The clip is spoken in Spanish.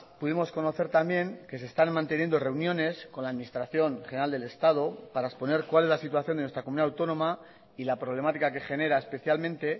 pudimos conocer también que se están manteniendo reuniones con la administración general del estado para exponer cuál es la situación de nuestra comunidad autónoma y la problemática que genera especialmente